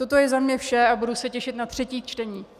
Toto je ode mne vše a budu se těšit na třetí čtení.